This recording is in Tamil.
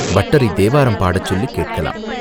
பட்டரைத் தேவாரம் பாடச் சொல்லிக் கேட்கலாம்.